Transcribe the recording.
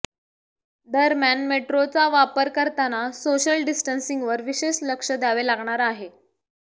दरम्यान मेट्रोचा वापर करताना सोशल डिस्टन्सिंगवर विशेष लक्ष द्यावे लागणार आहे